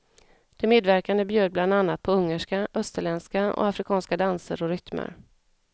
De medverkande bjöd bland annat på ungerska, österländska och afrikanska danser och rytmer.